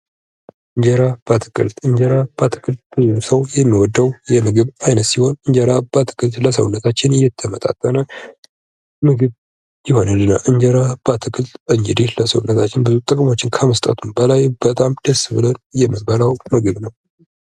የምግብ ዋስትና ሁሉም ሰው በቂና የተመጣጠነ ምግብ የማግኘት መብት ያለውበት ሁኔታን ያመለክታል